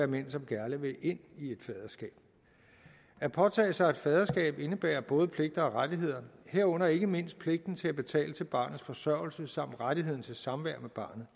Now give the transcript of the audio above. mænd som gerne vil ind i et faderskab at påtage sig et faderskab indebærer både pligter og rettigheder herunder ikke mindst pligten til at betale til barnets forsørgelse samt rettigheden til samvær